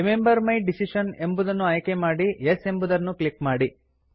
remember my decision ಎಂಬುದನ್ನು ಆಯ್ಕೆ ಮಾಡಿ ಯೆಸ್ ಎಂಬುದನ್ನು ಕ್ಲಿಕ್ ಮಾಡಿ